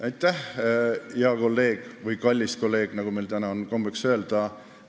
Aitäh, hea kolleeg või kallis kolleeg, nagu meil täna on kombeks öelda!